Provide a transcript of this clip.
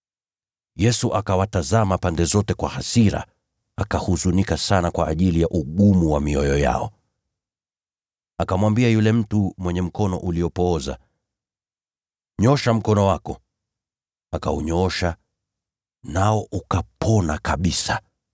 Yesu akawatazama pande zote kwa hasira, akahuzunika sana kwa ajili ya ugumu wa mioyo yao. Akamwambia yule mtu mwenye mkono uliopooza, “Nyoosha mkono wako.” Akaunyoosha, nao ukaponywa kabisa!